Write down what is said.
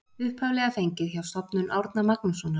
Upphaflega fengið hjá Stofnun Árna Magnússonar.